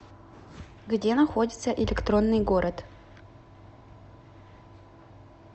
где находится электронный город